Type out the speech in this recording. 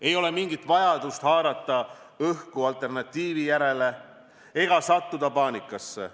Ei ole mingit vajadust haarata õhku alternatiivi järele ega sattuda paanikasse.